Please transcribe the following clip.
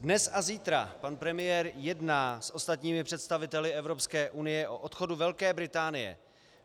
Dnes a zítra pan premiér jedná s ostatními představiteli Evropské unie o odchodu Velké Británie.